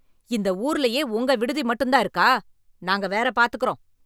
இந்த ஊர்லயே உங்க விடுதி மட்டும் தான் இருக்கா, நாங்க வேற பாத்துக்குறோம்.